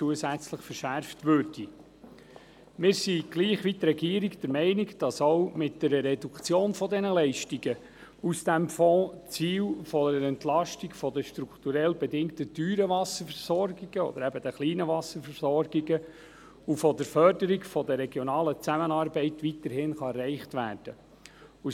Wir sind gleich wie die Regierung der Meinung, dass auch mit einer Reduktion der Leistungen aus dem Fonds die Ziele einer Entlastung der strukturell bedingt teuren Wasserversorgungen – oder eben der kleinen Wasserversorgungen – sowie der Förderung der regionalen Zusammenarbeit weiterhin erreicht werden können.